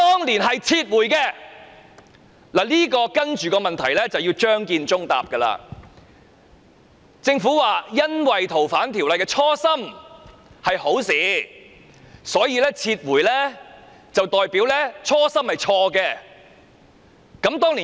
我下一個問題需要張建宗回答，政府說由於修訂《逃犯條例》的初心是好事，撤回便代表其初心是錯的。